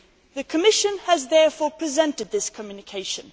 The Commission has therefore presented this communication.